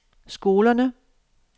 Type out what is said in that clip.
skolerne